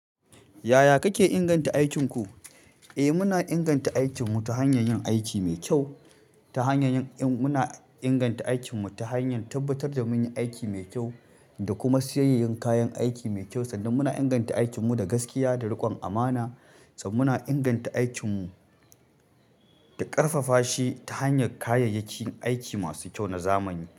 Yaya kake ingan ta aikin ku? Eh, muna inganta aikinmu ta hanyar yin aiki mai kyau ta hanyar yin, in muna inganta aikin mu ta hanyar tabbatar da mun yi aiki mai kyau, da kuma siyayyen kayan aiki mai kyau sannan muna inganta aikin mu da gaskiya da riƙon amana, sannan -muna inganta aikin mu da ƙarfafa shi ta hanyar kayayyakin aiki masu kyau na zamani.